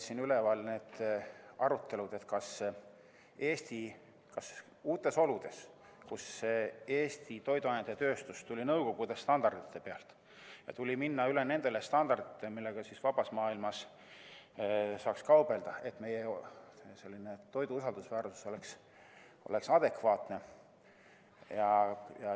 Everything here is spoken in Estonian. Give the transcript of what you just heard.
Siis olid arutelud uutes oludes, Eesti toiduainetööstus tuli nõukogude standardite pealt ja tuli minna üle nendele standarditele, millega vabas maailmas kaubelda, nii et meie toidu usaldusväärsus oleks adekvaatne.